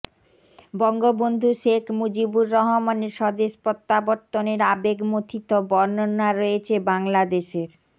বঙ্গবন্ধু শেখ মুজিবুর রহমানের স্বদেশ প্রত্যাবর্তনের আবেগমথিত বর্ণনা রয়েছে বাংলাদেশের